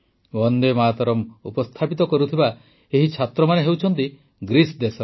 ବନ୍ଦେ ମାତରମ୍ ଉପସ୍ଥାପିତ କରୁଥିବା ଏହି ଛାତ୍ରମାନେ ହେଉଛନ୍ତି ଗ୍ରୀସ ଦେଶର